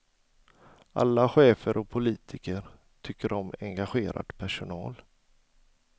Alla chefer och politiker tycker om engagerad personal.